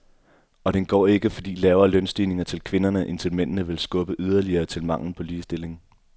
Og den går ikke, fordi lavere lønstigninger til kvinderne end til mændene vil skubbe yderligere til manglen på ligestilling.